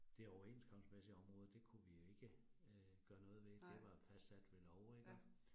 Det overenskomstmæssige område, det kunne vi jo ikke øh gøre noget ved, det var fastsat ved lov iggå